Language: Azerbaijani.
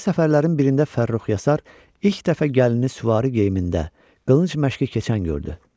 Belə səfərlərin birində Fərrux Yasar ilk dəfə gəlini süvari geyimində, qılınc məşqi keçən gördü.